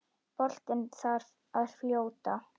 Boltinn þar að fljóta.